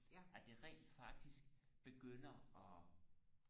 at de rent faktisk begynder og